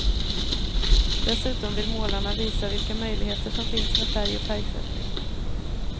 Dessutom vill målarna visa vilka möjligheter som finns med färg och färgsättning.